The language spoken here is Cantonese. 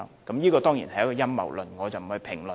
這當然是陰謀論，我不作評論。